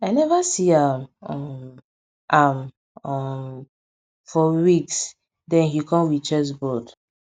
i neva see am um am um for weeks den he kom wit chessboard